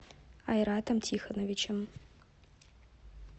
айратом тихоновичем